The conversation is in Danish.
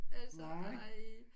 Altså ej